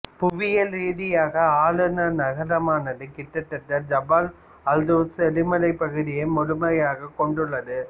புவியியல் ரீதியாக ஆளுநரகமானது கிட்டதட்ட ஜபல் அல்ட்ரூஸ் எரிமலைப் பகுதியை முழுமையாக கொண்டுள்ளது